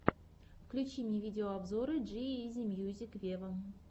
включи мне видеообзоры джи изи мьюзик вево